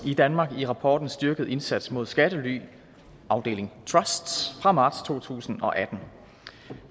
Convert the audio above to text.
i danmark i rapporten styrket indsats mod skattely trusts fra marts to tusind og atten